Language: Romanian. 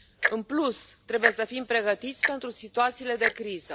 În plus, trebuie să fim pregătiți pentru situațiile de criză.